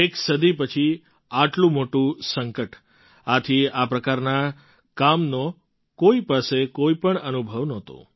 એક સદી પછી આટલું મોટું સંકટ આથી આ પ્રકારના કામનો કોઈ પાસે કોઈ પણ અનુભવ નહોતો